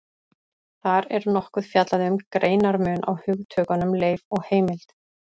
Þar er nokkuð fjallað um greinarmun á hugtökunum leif og heimild.